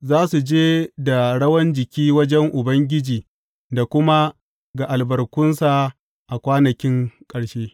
Za su je da rawan jiki wajen Ubangiji da kuma ga albarkunsa a kwanakin ƙarshe.